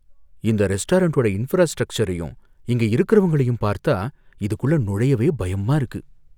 இந்த ரெஸ்டாரெண்ட்டோட இன்ஃப்ரா ஸ்ட்ரக்ச்சரையும் இங்க இருக்கறவங்களையும் பார்த்தா இதுக்குள்ள நுழையவே பயமா இருக்கு.